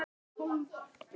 Þú lagðir lífið þannig upp.